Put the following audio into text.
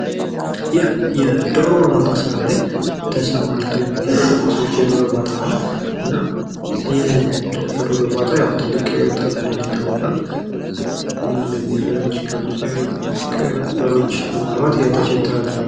ይህ የዶሮ እርባታ ስራ ላይ ተሰማርቶ የሚገኘው የዶሮ እርባታ ነው። እና ይህ የዶሮ እርባታ ትልቅ ትርፍ እንዳለው ይታወቃል። እና እነዚህን የፈረንጅ ዶሮዎች በማርባት ህይወታቸውን ያስተዳድራሉ።